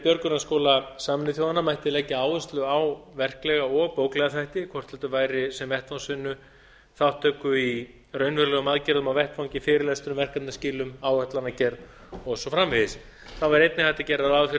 björgunarskóla sameinuðu þjóðanna mætti leggja áherslu á verklega og bóklega þætti hvort heldur væri sem vettvangsvinnu þátttöku í raunverulegum aðgerðum á vettvangi fyrirlestrum verkefnaskilum áætlanagerð og svo framvegis þá væri einnig hægt að gera ráð fyrir